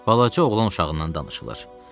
Balaca oğlan uşağından danışılır.